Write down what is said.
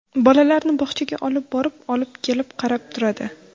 Bolalarni bog‘chaga olib borib, olib kelib, qarab turadi.